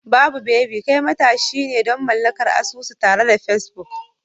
Babu baby, kai matashi ne don mallakar asusu tare da Facebook.